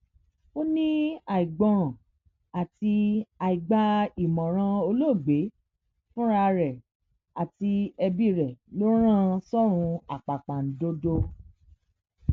ó ní àìgbọràn àti àìgba ìmọràn olóògbé fúnra rẹ àti ẹbí rẹ ló rán an sọrùn àpàpàǹdodo